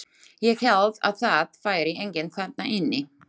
Ég hélt að það væri enginn þarna inni.